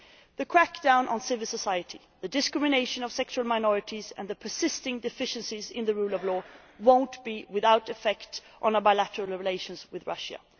The crackdown on civil society, the discrimination against sexual minorities and the persisting deficiencies in the rule of law will not be without effect on bilateral relations with Russia.